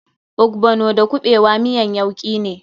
Ogbono da kuɓewa miyan yauki ne.